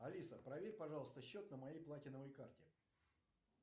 алиса проверь пожалуйста счет на моей платиновой карте